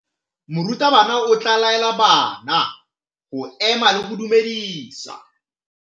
Morutabana o tla laela bana go ema le go go dumedisa.